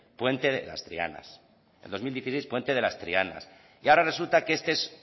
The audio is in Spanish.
puente de las trianas en dos mil dieciséis puente de las trianas y ahora resulta que este es